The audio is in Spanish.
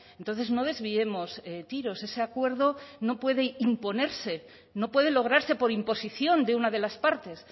entonces no desviemos tiros ese acuerdo no puede imponerse no puede lograrse por imposición de una de las partes